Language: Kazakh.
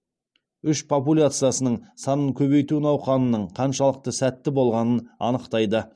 үш популяциясының санын көбейту науқанының қаншалықты сәтті болғанын анықтайды